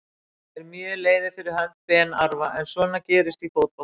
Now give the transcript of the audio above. Ég er mjög leiður fyrir hönd Ben Arfa en svona gerist í fótbolta.